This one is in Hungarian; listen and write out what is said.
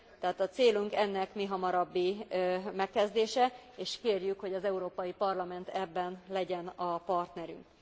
Tehát a célunk ennek mihamarabbi megkezdése és kérjük, hogy az Európai Parlament ebben legyen a partnerünk.